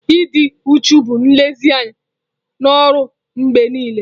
Ịdị uchu bụ nlezianya na ọrụ mgbe niile.